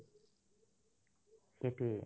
সেটোয়ে